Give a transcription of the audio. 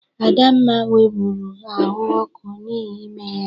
Adamma nwebụru ahụ ọkụ n'ihi ime ya.